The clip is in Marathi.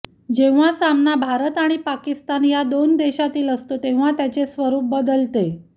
जेव्हा सामना भारत आणि पाकिस्तान या दोन देशातील असतो तेव्हा त्याचे स्वरुप बदलते